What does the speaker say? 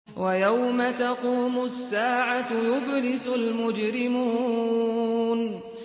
وَيَوْمَ تَقُومُ السَّاعَةُ يُبْلِسُ الْمُجْرِمُونَ